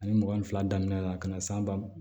Ani mugan ni fila daminɛna ka na s'a ba